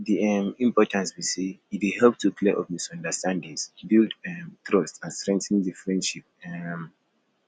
di um importance be say e dey help to clear up misunderstandings build um trust and strengthen di friendship um